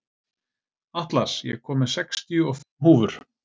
Atlas, ég kom með sextíu og fimm húfur!